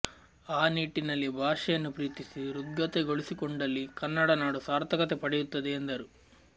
ಆ ನಿಟ್ಟಿನಲ್ಲಿ ಭಾಷೆಯನ್ನು ಪ್ರೀತಿಸಿ ಹೃದ್ಗತಗೊಳಿಸಿಕೊಂಡಲ್ಲಿ ಕನ್ನಡ ನಾಡು ಸಾರ್ಥಕತೆ ಪಡೆಯುತ್ತದೆ ಎಂದರು